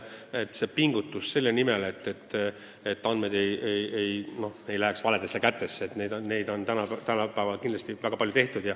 Pingutusi selle nimel, et andmed ei läheks valedesse kätesse, on minu arvates tänapäeval kindlasti väga palju tehtud.